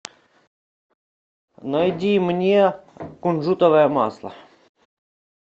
найди мне кунжутовое масло